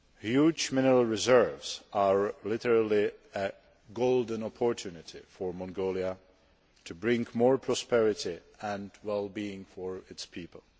Huge mineral reserves are literally a golden opportunity' for Mongolia to bring more prosperity and well being to its people.